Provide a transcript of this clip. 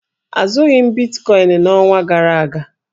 Azụghị m bitkọịn n'ọnwa gara aga.